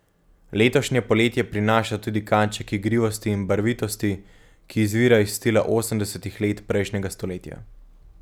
Letošnje poletje prinaša tudi kanček igrivosti in barvitosti, ki izvira iz stila osemdesetih let prejšnjega stoletja.